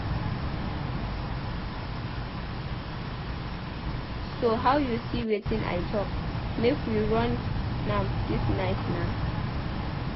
So how you see wetin I talk? Make we run am dis night naa